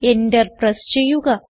Enter press ചെയ്യുക